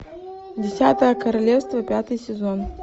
десятое королевство пятый сезон